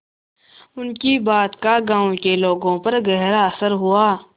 उनकी बात का गांव के लोगों पर गहरा असर हुआ